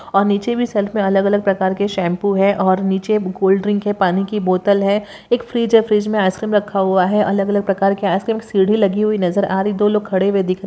और नीचे भी सेल्फ में अलग अलग प्रकार के शैंपू है और नीचे कोल्ड ड्रिंक है पानी की बोतल है एक फ्रीज हे फ्रिज में आइसक्रीम रखा हुआ है अलग अलग प्रकार की आइसक्रीम सिंड़ी लगी हुई नजर आ रही दो लोग खड़े हुए दिख--